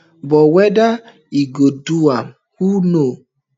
but whether e go do am who know